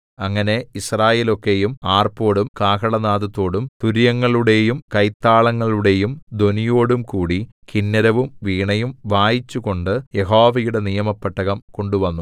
അങ്ങനെ യിസ്രായേലൊക്കയും ആർപ്പോടും കാഹളനാദത്തോടും തൂര്യങ്ങളുടെയും കൈത്താളങ്ങളുടെയും ധ്വനിയോടുംകൂടി കിന്നരവും വീണയും വായിച്ചുകൊണ്ടു യഹോവയുടെ നിയമപെട്ടകം കൊണ്ടുവന്നു